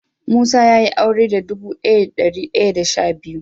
Musa ya Yi aure da dubu daya da dari daya da sha biyu.